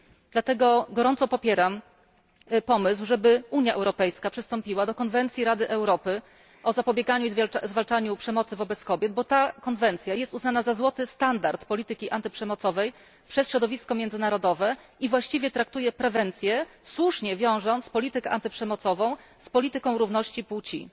Dlatego gorąco popieram pomysł, żeby Unia Europejska przystąpiła do konwencji Rady Europy o zapobieganiu i zwalczaniu przemocy wobec kobiet, bo ta konwencja jest uznana za złoty standard polityki antyprzemocowej przez środowisko międzynarodowe i właściwie traktuje prewencję, słusznie wiążąc politykę antyprzemocową z polityką równości płci.